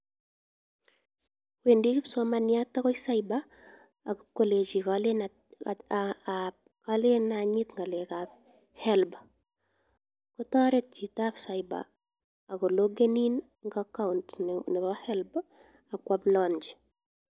Wendi kipsomaniat agoi cyber agolenji kolen anyit ngalekab HELB kotoret chitab cyber ak loggen in en acoount nebo HELB ak koapplaenchi.